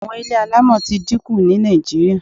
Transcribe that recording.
Àwọn ilé alámọ̀ ti dí ku ní Nàìjíríà